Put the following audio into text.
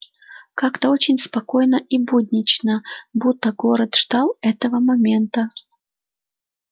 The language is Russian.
как-то очень спокойно и буднично будто город ждал этого момента